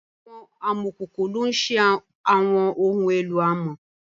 Awọn amọkoko lo n ṣe awọn ohun elo amọ